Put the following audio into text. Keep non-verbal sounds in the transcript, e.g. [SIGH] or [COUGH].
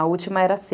A última era [UNINTELLIGIBLE]